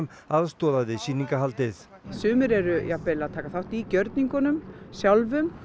aðstoða við sumir eru jafnvel að taka þátt í gjörningunum sjálfum